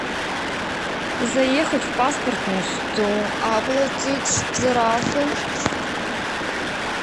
заехать в паспортный стол оплатить штрафы